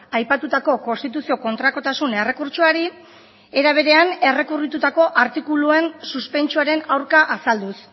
aipatutako konstituzio kontrakotasun errekurtsoari era berean errekurritutako artikuluen suspentsoaren aurka azalduz